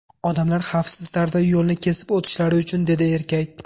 Odamlar xavfsiz tarzda yo‘lni kesib o‘tishlari uchun”, dedi erkak.